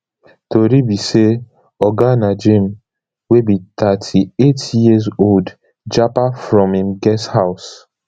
tori be say oga najeem wey be thirty-eight years old japa from im guest house